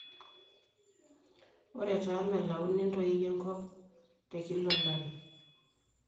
ore taa mellauni entoi enkp te kila olari